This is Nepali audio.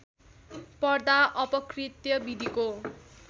पर्दा अपकृत्य विधिको